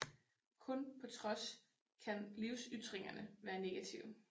Kun på trods kan livsytringerne være negative